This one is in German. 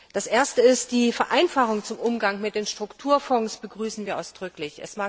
Die erste ist Die Vereinfachung beim Umgang mit den Strukturfonds begrüßen wir ausdrücklich.